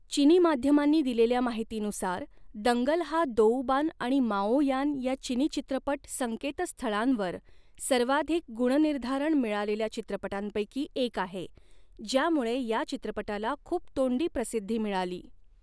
चिनी माध्यमांनी दिलेल्या माहितीनुसार, दंगल हा, दोउबान आणि माओयान या चिनी चित्रपट संकेतस्थळांवर सर्वाधिक गुणनिर्धारण मिळालेल्या चित्रपटांपैकी एक आहे ज्यामुळे या चित्रपटाला खूप तोंडी प्रसिद्धी मिळाली.